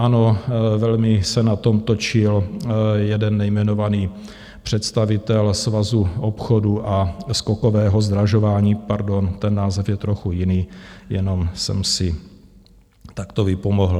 Ano, velmi se na tom točil jeden nejmenovaný představitel Svazu obchodu a skokového zdražování - pardon, ten název je trochu jiný, jenom jsem si takto vypomohl.